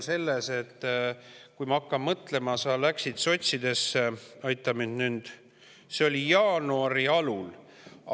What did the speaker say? Ma hakkan mõtlema, et sa läksid sotsidesse – aita mind nüüd –, jaanuari alul.